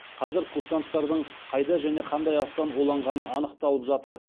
қазір курсанттардың қайда және қандай астан уланғаны анықталып жатыр